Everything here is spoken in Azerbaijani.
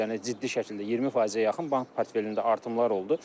Yəni ciddi şəkildə 20%-ə yaxın bank portfelində artımlar oldu.